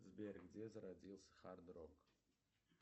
сбер где зародился хард рок